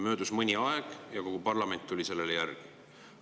Möödus mõni aeg ja kogu parlament tuli sellele järgi.